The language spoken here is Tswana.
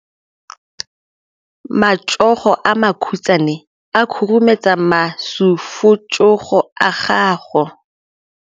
Matsogo a makhutshwane a khurumetsa masufutsogo a gago.